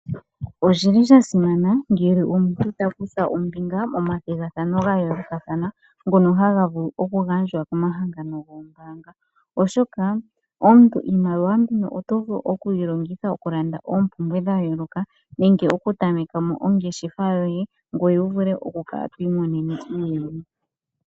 Oshili shasimana ngele omuntu ota kutha ombinga momathigathano gayoolokathana, ngono haga vulu okugandjwa komahangano goombaanga, oshoka omuntu iimaliwa mbino oto vulu okuyilongitha okulandamo oompumbwe dhayoolokathana nenge okutamekamo ongeshefa yoye , ngoye wuvule okukala twiimonenemo iiyemo.